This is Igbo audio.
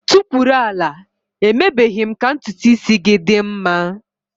Tukwuru ala! Emebeghi m ka ntutu isi gị dị mma.